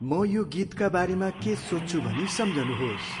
म यो गीतका बारेमा के सोच्छु भनी सम्झनुहोस्।